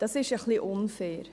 Dies ist etwas unfair.